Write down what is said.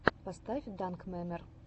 поставь данкмемер